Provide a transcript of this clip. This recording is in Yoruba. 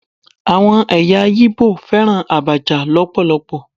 Àwọn ẹ̀yà Igbo fẹ́ràn Abacha lọpọlọpọ.